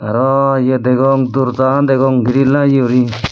arw eye degong dorja an degong giril lageye guri.